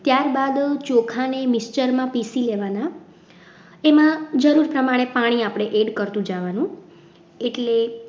ત્યારબાદ ચોખાને mixture માં પીસી લેવાના એમાં જરૂર પ્રમાણે પાણી આપણે એડ કરતું જવાનું. એટલે